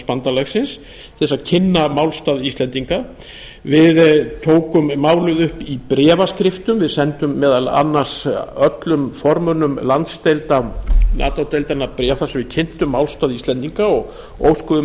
að kynna málstað íslendinga við tókum málið upp í bréfaskriftum við sendum meðal annars öllum formönnum landsdeilda nato deildarinnar bréf þar sem við kynntum málstað íslendinga og óskuðum